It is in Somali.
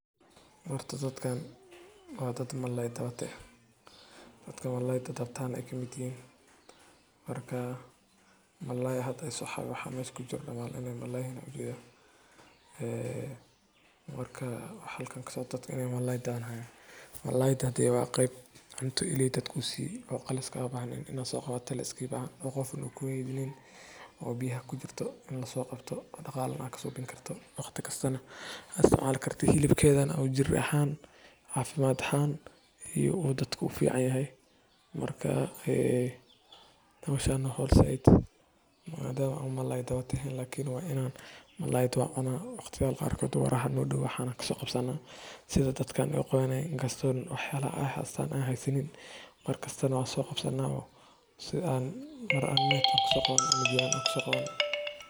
Horta, dadkan waa dad malalay, dawata ah, taasoo micnaheedu yahay in ay yihiin dad sabool ah, nugul, isla markaana aan haysan wax ay ku tiirsan yihiin oo nolol maalmeedkooda damaanad u ah. Erayga “malalay” wuxuu tilmaamayaa xaalad nololeed oo hooseysa, meel ay ka jirto baahi, gaajo, iyo la’aan adeegyo aasaasi ah sida cunto, biyo, hoy iyo waxbarasho. Dhinaca kale.